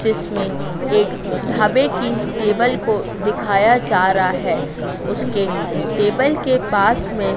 जिसमें एक ढाबे की टेबल को दिखाया जा रहा है उसके टेबल के पास में--